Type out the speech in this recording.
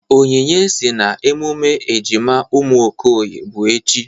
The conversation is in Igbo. Onyinye sị na emume ejima ụmụ Okoye bụ echi.